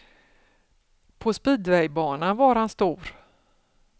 På speedwaybanan var han stor.